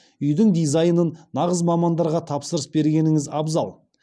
үйдің дизайнын нағыз мамандарға тапсырыс бергеніңіз абзал